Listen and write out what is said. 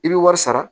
I bɛ wari sara